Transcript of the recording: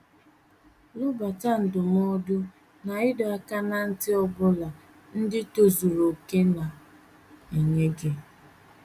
Lobata ndụmọdụ na ịdọ aka ná ntị ọ bụla ndị tozuru okè na - enye gị.